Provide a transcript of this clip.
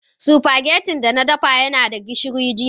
spaghetti da na dafa yana da gishiri.